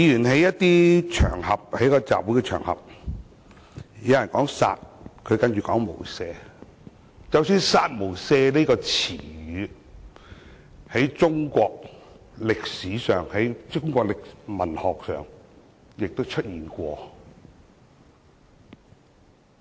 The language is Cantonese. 在該集會場合中，有人說"殺"，何君堯議員便接着說"無赦"，"殺無赦"這詞語即使是在中國歷史上、文學上也曾出現。